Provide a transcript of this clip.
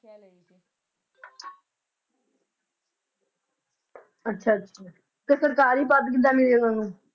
ਅੱਛਾ ਅੱਛਾ ਤਾ ਸਰਕਾਰੀ ਪਦ ਕਿੱਦਾਂ ਮਿਲੇ ਉਹ